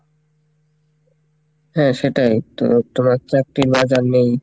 হ্যাঁ সেটাই তবে তোমার চাকরি না জানলেই,